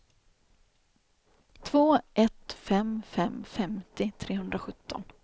två ett fem fem femtio trehundrasjutton